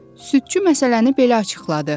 Südçü məsələni belə açıqladı: